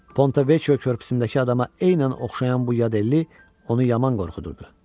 Pontevekyo körpüsündəki adama eynən oxşayan bu yadelli onu yaman qorxudurdu.